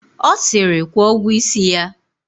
Ọ siri, kwụọ ụgwọ isi ya!